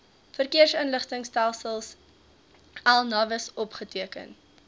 verkeersinligtingstelsel navis opgeteken